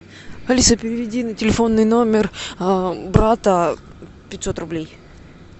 алиса переведи на телефонный номер брата пятьсот рублей